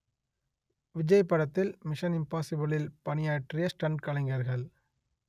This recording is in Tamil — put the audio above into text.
விஜய் படத்தில் மிஷன் இம்பாஸிபிளில் பணியாற்றிய ஸ்டண்ட் கலைஞர்கள்